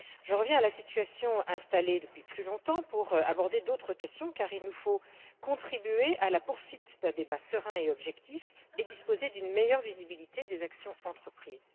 Je reviens sur la situation qui dure depuis plus longtemps pour aborder d'autres questions car il nous faut contribuer à la poursuite d'un débat serein et objectif et disposer d'une meilleure visibilité des actions entreprises.